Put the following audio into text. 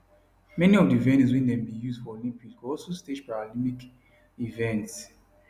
many of di venues wey dem bin use for olympics go also stage paralympic events